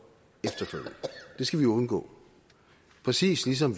det skal man undgå præcis ligesom